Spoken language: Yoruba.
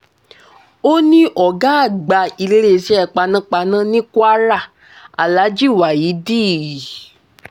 ó ní ọ̀gá àgbà iléeṣẹ́ panápaná ní kwara alhaji waheed i